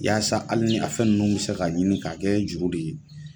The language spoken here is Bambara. Yasa hali ni a fɛn ninnu bɛ se ka ɲini k'a kɛ juru de ye.